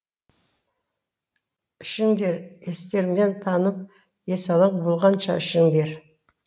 ішіңдер естеріңнен танып есалаң болғанша ішіңдер